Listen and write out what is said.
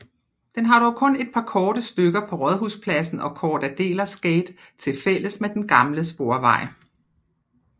Den har dog kun et par korte stykker på Rådhusplassen og Cort Adelers gate tilfælles med den gamle sporvej